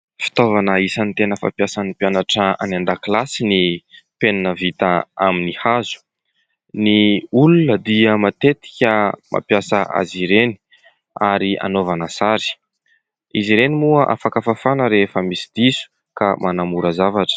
Fitaovana isany tena fampiasan'ny mpianatra any an-dakilasy ny penina vita amin'ny hazo, ny olona dia matetika mampiasa azy ireny, ary anaovana sary, izy ireny moa afaka fafana rehefa misy diso ka manamora zavatra.